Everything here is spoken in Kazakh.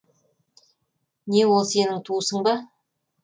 не ол сенің туысың ба